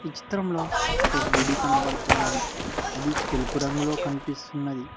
ఈ చిత్రంలో ఒక గుడి కనబడుతున్నది అది తెలుపు రంగులో కనిపిస్తున్నది.